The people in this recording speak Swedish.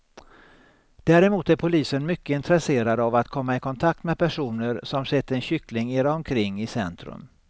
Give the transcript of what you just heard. Däremot är polisen mycket intresserad av att komma i kontakt med personer som sett en kyckling irra omkring i centrum.